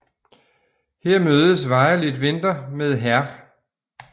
Her mødes Violet Vinter med Hr